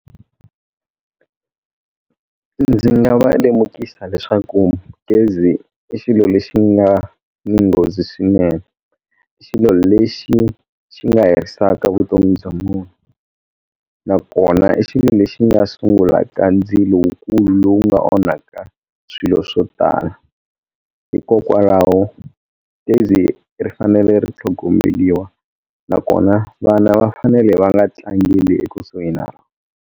Ndzi nga va lemukisa leswaku gezi i xilo lexi nga ni nghozi swinene xilo lexi xi nga herisaka vutomi bya munhu nakona i xilo lexi nga sungula ka ndzilo wu kulu lowu nga onhaka swilo swo tala hikokwalaho gezi ri fanele ri tlhogomeliwa nakona vana va fanele va nga tlangeli ekusuhi na rona.